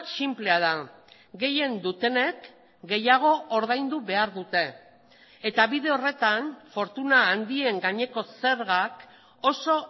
sinplea da gehien dutenek gehiago ordaindu behar dute eta bide horretan fortuna handien gaineko zergak oso